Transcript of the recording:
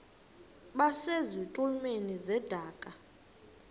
base zitulmeni zedaka